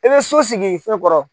E bɛ so sigi fɛn kɔrɔ.